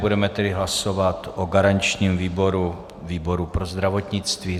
Budeme tedy hlasovat o garančním výboru výboru pro zdravotnictví.